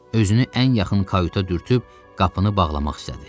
Özünü ən yaxın kayuta dürtüb qapını bağlamaq istədi.